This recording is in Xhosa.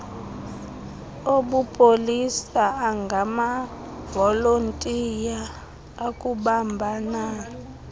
obupolisa angamavolontiya akubambanani